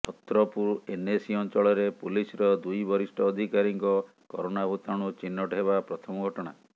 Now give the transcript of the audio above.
Chhatrapur NAC ଅଞ୍ଚଳରେ ପୁଲିସର ଦୁଇ ବରିଷ୍ଠ ଅଧିକାରୀଙ୍କ କରୋନା ଭୂତାଣୁ ଚିହ୍ନଟ ହେବା ପ୍ରଥମ ଘଟଣା